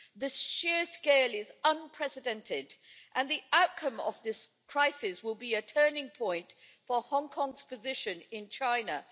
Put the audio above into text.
The sheer scale is unprecedented, and the outcome of this crisis will be a turning point for Hong Kong's position in China.